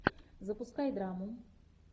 запускай драму